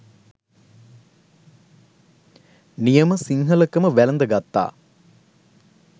නියම සිංහලකම වැළඳ ගත්තා..